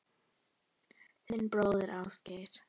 Þinn bróðir, Ásgeir.